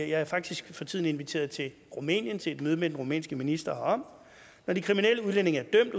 jeg er faktisk for tiden inviteret til rumænien til et møde med den rumænske minister herom når de kriminelle udlændinge er